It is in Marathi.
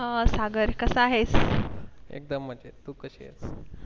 एकदम मजेत तू कशी आहेस